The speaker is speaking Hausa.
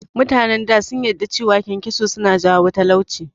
Mutanen da sun yadda da cewa kyankyaso suna jawo talauci